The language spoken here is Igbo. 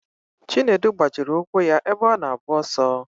Chinedu gbajiri ụkwụ ya ebe ọ na-agba ọsọ.